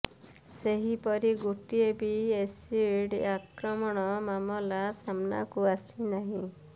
ସେହିପରି ଗୋଟିଏ ବି ଏସିଡ଼୍ ଆକ୍ରମଣ ମାମଲା ସାମ୍ନାକୁ ଆସି ନାହିଁ